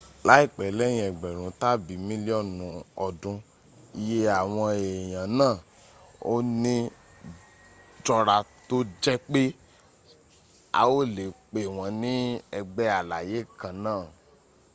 láìpẹ́ léyìn egberun tàbi mílíọ́nù ọdún iye àwọn èèyàn náà ò ní jọra tó jẹ́ pé a ò lè pe wọ́n ní ęgbẹ́ alàyè kán náà